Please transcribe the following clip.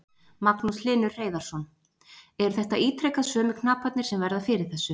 Magnús Hlynur Hreiðarsson: Eru þetta ítrekað sömu knaparnir sem verða fyrir þessu?